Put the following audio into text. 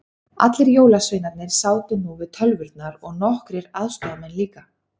Allir jólasveinarnir sátu nú við tölvurnar og nokkrir aðstoðamenn líka.